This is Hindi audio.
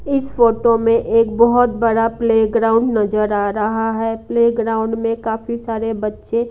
इस फोटो में एक बहुत बड़ा प्लेग्राउंड नजर आ रहा है प्लेग्राउंड में काफी सारे बच्चे--